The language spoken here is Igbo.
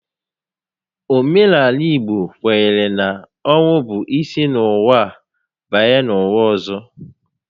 Omenaala Igbo kwenyere na ọnwụ bụ isi n'ụwa banye n'ụwa ọzọ